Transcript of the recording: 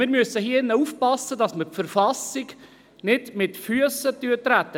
Wir müssen im Rat aufpassen, dass wir die Verfassung nicht mit Füssen treten.